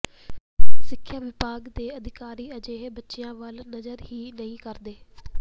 ਸਿੱਖਿਆ ਵਿਭਾਗ ਦੇ ਅਧਿਕਾਰੀ ਅਜਿਹੇ ਬੱਚਿਆਂ ਵੱਲ ਨਜ਼ਰ ਹੀ ਨਹੀਂ ਕਰਦੇ